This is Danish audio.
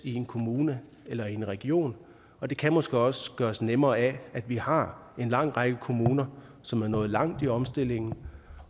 en kommune eller i en region og det kan måske også gøres nemmere af at vi har en lang række kommuner som er nået langt i omstillingen